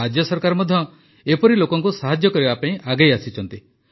ରାଜ୍ୟ ସରକାର ମଧ୍ୟ ଏପରି ଲୋକଙ୍କୁ ସାହାଯ୍ୟ କରିବା ପାଇଁ ଆଗେଇ ଆସିଛନ୍ତି